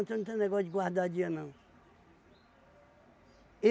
Eu não tenho negócio de guardar dia, não.